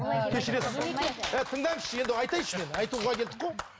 кешіресіз тыңдаңызшы енді айтайыншы мен айтуға келдік қой